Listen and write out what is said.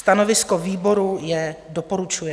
Stanovisko výboru je - doporučuje.